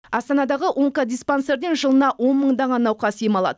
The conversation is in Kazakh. астанадағы онкодиспансерден жылына он мыңдаған науқас ем алады